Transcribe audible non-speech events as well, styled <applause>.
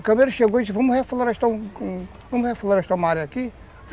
O Camelo chegou e disse, vamos reflorestar <unintelligible> vamos reflorestar uma área aqui?